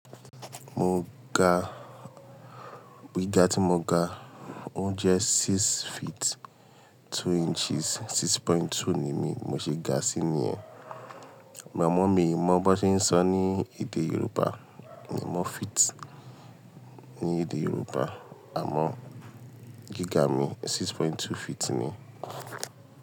Mo ga, gíga tí mo ga ó jẹ́ six feet two inches, 6.2 ni mí mo ṣe ga sí níyẹn. Ma mọ̀ mí mọ bó ti ń sọ ní èdè Yorùbá, ni mọ́ feet ní èdè Yorùbá, àmọ́ gíga mi 6.2 feet ni.